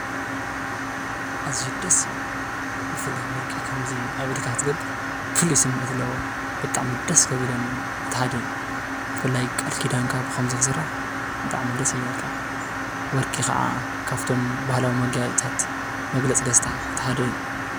ኣዝዩ ደስ ይብል!!! ብፍላይ ከምዚ ወርቂ ኣብ ኢድካ ክትገብር ፉሉይ ስሚዕት ኣለዎ፡፡ ብጣዕሚ ደስ ካብ ዝብለኒ እቲ ሓደ እዩ፡፡ ብፍላይ ቃል ኪዳንካ ብከምዚ ክስራሕ ብጣዕሚ ደስ ይብለካ፡፡ ወርቂ ከዓ ካብቶም ባህላዊ መጋየፅታት መግለፂ ደስታ እቲ ሓደ እዩ፡፡